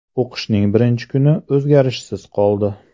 O‘qishning birinchi kuni o‘zgarishsiz qoldi.